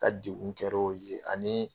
N ka degun kɛr'o ye ani